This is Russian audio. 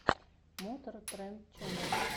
мотор тренд ченнел